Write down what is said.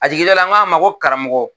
A jiginlen na n k'a ma ko karamɔgɔ